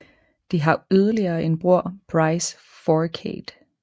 De har yderligere en bror Brice Fourcade